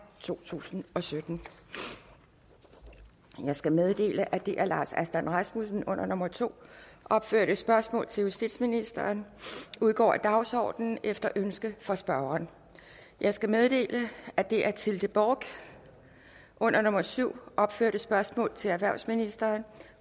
to tusind og sytten jeg skal meddele at det af herre lars aslan rasmussen under nummer to opførte spørgsmål til justitsministeren udgår af dagsordenen efter ønske fra spørgeren jeg skal meddele at det af tilde bork under nummer syv opførte spørgsmål til erhvervsministeren